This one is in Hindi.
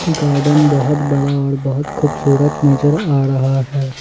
गार्डन बहोत बड़ा और बहोत खूबसूरत नजर आ रहा है।